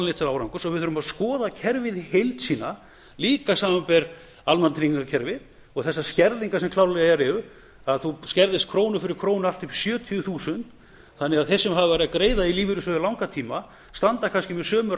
til árangurs og við þurfum að skoða kerfið í heild sína líka samanber almannatryggingakerfið og þessar skerðingar sem klárlega eru að þú skerðist krónu fyrir krónu allt upp í sjötíu þúsund þannig að þeir sem hafa verið að greiða í lífeyrissjóði í langan tíma standa kannski með sömu